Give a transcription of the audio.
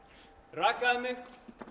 rakaði mig